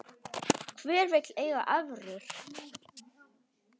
Hver vill eiga evrur?